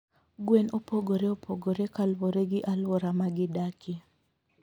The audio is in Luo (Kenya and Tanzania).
Gwen opogore opogore kaluwore gi alwora ma gidakie.